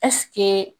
Ɛseke